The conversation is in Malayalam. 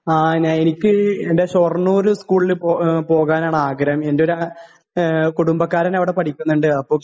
ങാ..ഞാൻ..എനിക്ക്..എന്റെ ഷൊർണൂര് സ്കൂളില് പോകാനാണാഗ്രഹം.എന്റൊരു കുടുംബക്കാരൻ അവിടെ പഠിക്കുന്നുണ്ട്.അപ്പൊ...